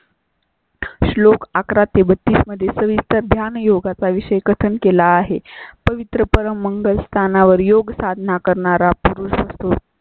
श्लोकअकरा ते बत्तीस मध्ये सविस्तर ज्ञान योगा चा विषय कथन केला आहे. पवित्र परम मंगल स्थानावर योग साधना करणारा पुरुष असतो.